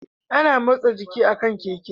Ana motsa jiki a kan Keke